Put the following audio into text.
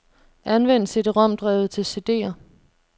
Anvend cd-rom-drevet til cd'er.